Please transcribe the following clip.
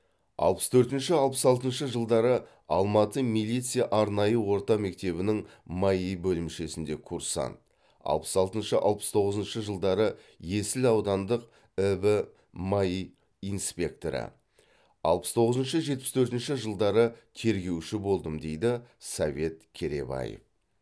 аллпыс төртінші алпыс алтыншы жылдары алматы милиция арнайы орта мектебінің маи бөлімшесінде курсант алпыс алтыншы алпыс тоғызыншы жылдары есіл аудандық іб маи инспекторы алпыс тоғызыншы жетпіс төртінші жылдары тергеуші болдым дейді совет керейбаев